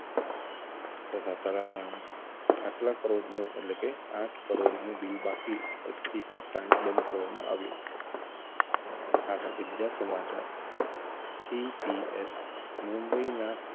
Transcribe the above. વાતાવરણ આટલા કરોડનું એટલે કે આંઠ કરોડનું બિલ બાકી સ્થિતિ તાંડ બનવામાં આવ્યો આ સાથે બીજા સમાચાર CPS મુંબઈના